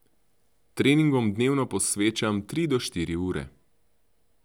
Treningom dnevno posvečam tri do štiri ure.